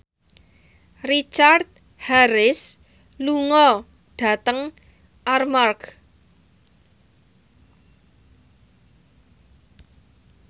Richard Harris lunga dhateng Armargh